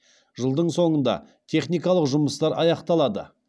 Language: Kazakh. жылдың соңында техникалық жұмыстар аяқталады